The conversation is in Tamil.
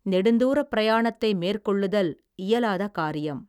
நெடுந்தூரப் பிரயாணத்தை மேற்கொள்ளுதல், இயலாத காரியம்.